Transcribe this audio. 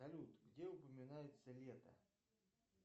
салют где упоминается лето